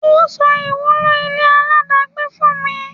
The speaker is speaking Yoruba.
Ọ́ sọ ìwúlò ile aláàdágbé fún mi.